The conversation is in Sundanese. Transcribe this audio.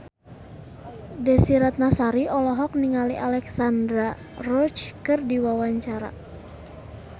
Desy Ratnasari olohok ningali Alexandra Roach keur diwawancara